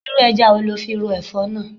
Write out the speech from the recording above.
Irú ẹja wo lo fi ro Ẹ̀fọ́ náà?